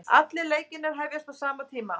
Allir leikirnir hefjast á sama tíma